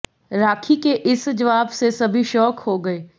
राखी के इस जवाब से सभी शॉक हो गए